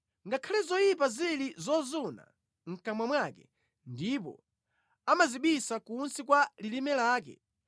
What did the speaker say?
“Ngakhale zoyipa zili zozuna mʼkamwa mwake ndipo amazibisa kunsi kwa lilime lake,